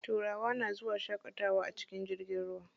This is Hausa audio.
Turawa na zuwa shaƙatawa a cikin jirgin ruwa.